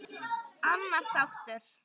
Annar þáttur.